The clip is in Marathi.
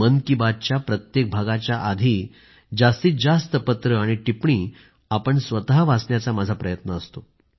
मन की बातच्या प्रत्येक भागाच्या आधी जास्तीत जास्त पत्रं आणि टिप्पणी आपण स्वतः वाचण्याचा माझा प्रयत्न असतो